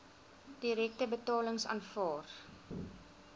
direkte betalings aanvaar